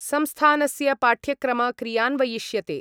संस्थानस्य पाठ्यक्रम क्रियान्वयिष्यते।